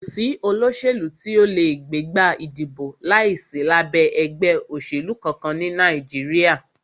Kò sí olóṣèlú tí o lè gbégbá ìdìbò láìsí lábẹ́ ẹgbẹ́ òṣèlú kankan ní Nàìjíríà.